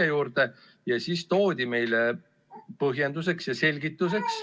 Aga selle peale toodi meile põhjenduseks ja selgituseks,